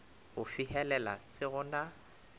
go fihelela se go na